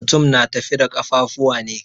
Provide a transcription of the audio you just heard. Mutum na tafi da ƙafuwa ne.